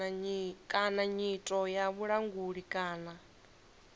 kana nyito ya vhulanguli kana